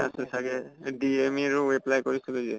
আছে চাগে DME ৰো apply কৰিছিলো যে